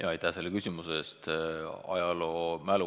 Aitäh selle küsimuse eest!